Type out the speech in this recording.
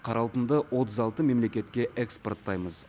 қара алтынды отыз алты мемлекетке экспорттаймыз